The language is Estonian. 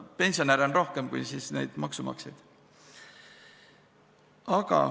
Pensionäre on rohkem kui maksumaksjaid.